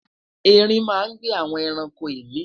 ẹrin má n gbe awọn ẹranko imi